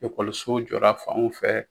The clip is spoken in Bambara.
Ekɔlisow jɔra fanw fɛ